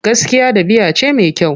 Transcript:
Gaskiya ɗabi'a ce mai kyau.